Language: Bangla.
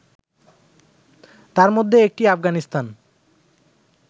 তার মধ্যে একটি আফগানিস্তান